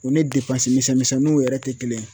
O ni misɛnninw yɛrɛ tɛ kelen ye